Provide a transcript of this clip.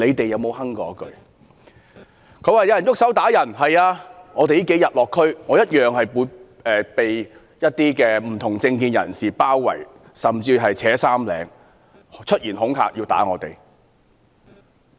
有議員說有人動手打人，是的，我這數天落區，同樣被不同政見人士包圍、扯衣領，甚至出言恐嚇要打我。